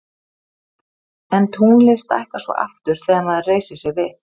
en tunglið stækkar svo aftur þegar maður reisir sig við